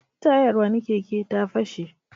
Tayar wani keke ta fashe.